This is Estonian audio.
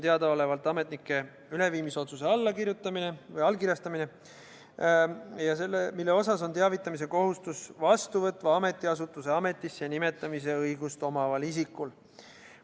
Teadaolevalt on üks toiming see, et tuleb allkirjastada ametnike üleviimise otsus, mille suhtes on teavitamise kohustus vastuvõtva ametiasutuse ametisse nimetamise õigust omaval isikul.